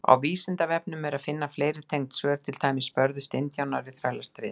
Á Vísindavefnum er að finna fleiri tengd svör, til dæmis: Börðust indjánar í Þrælastríðinu?